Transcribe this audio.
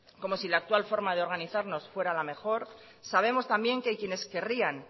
como si la actual forma de organizarnos fuera la mejor sabemos también que quienes querrían